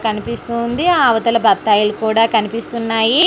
కనిపిస్తుంది అవతల బత్తాయిలు కూడా కనిపిస్తున్నాయి.